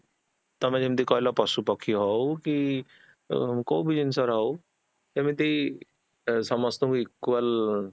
ତମେ ଯେମିତି କହିଲ ପଶୁ ପାଖି ହଉ କି ଅ କୋଉବି ଜିନିଷର ହଉ ଏମିତି ଅ ସମସ୍ତଙ୍କୁ equal